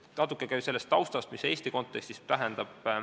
Natuke ka taustast, mida see Eesti kontekstis tähendab.